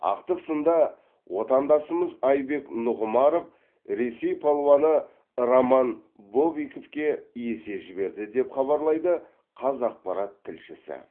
ақтық сында отандасымыз айбек нұғымаров ресей палуаны роман бобиковке есе жіберді деп хабарлайды қазақпарат тілшісі